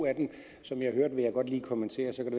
som jeg hørte vil jeg godt lige kommentere så kan